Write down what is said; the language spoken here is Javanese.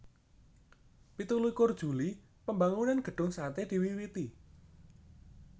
Pitu likur Juli Pambangunan Gedung Sate diwiwiti